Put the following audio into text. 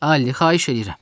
Alli, xahiş eləyirəm.